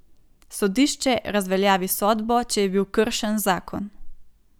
Sodišče razveljavi sodbo, če je bil kršen zakon.